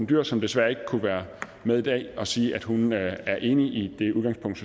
dyhr som desværre ikke kunne være med i dag og sige at hun er enig i det udgangspunkt